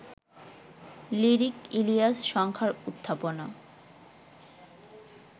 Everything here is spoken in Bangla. লিরিক-ইলিয়াস সংখ্যার উত্থাপনা